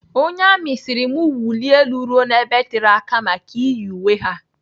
Onye amị sịrị m wulie elu ruo n'ebe tere aka maka iyi uwe ha.